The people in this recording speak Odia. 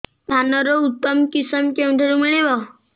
ଧାନର ଉତ୍ତମ କିଶମ କେଉଁଠାରୁ ମିଳିବ